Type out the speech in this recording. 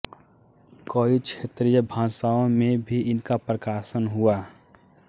कई क्षेत्रीय भाषाओं में भी इनका प्रकाशन हुआ